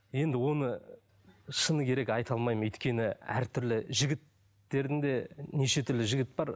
енді оны шыны керек айта алмаймын өйткені әртүрлі жігіттердің де неше түрлі жігіт бар